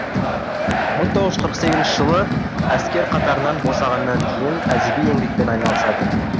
мың тоғыз жүз қырық сегізінші жылы әскер қатарынан босағаннан кейін әдеби еңбекпен айналысады